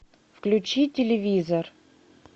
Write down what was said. включи телевизор